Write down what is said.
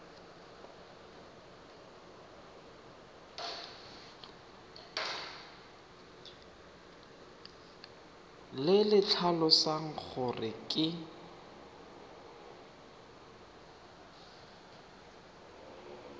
le le tlhalosang gore ke